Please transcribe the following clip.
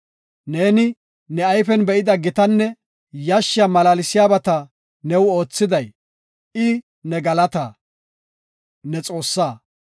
Neeni ne ayfen be7ida gitanne yashshiya malaalsiyabata new oothiday, I ne galataa; ne Xoossaa.